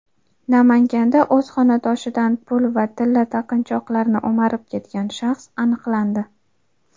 Namanganda o‘z xonadonidan pul va tilla taqinchoqlarni o‘marib ketgan shaxs aniqlandi.